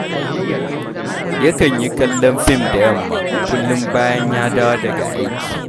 Yakan yi kallon fim da yamma kullum bayan ya dawo daga aiki